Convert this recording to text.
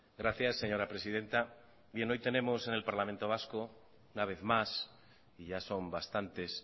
gracias señora presidenta hoy tenemos en parlamento vasco un vez más y ya son bastantes